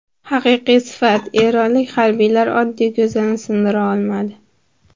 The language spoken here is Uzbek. Haqiqiy sifat: Eronlik harbiylar oddiy ko‘zani sindira olmadi .